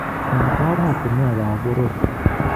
En oratunwek ab boror.